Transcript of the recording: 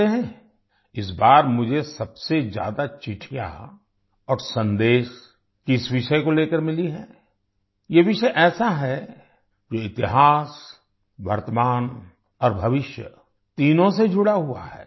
जानते हैं इस बार मुझे सबसे ज्यादा चिट्ठियाँ और संदेश किस विषय को लेकर मिली है ये विषय ऐसा है जो इतिहास वर्तमान और भविष्य तीनों से जुड़ा हुआ है